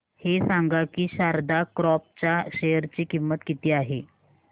हे सांगा की शारदा क्रॉप च्या शेअर ची किंमत किती आहे